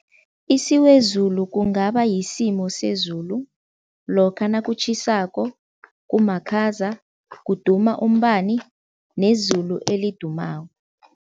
Isiwezulu kungaba yisimo sezulu lokha nakutjhisako, kumakhaza, kuduma umbani nezulu elidumako.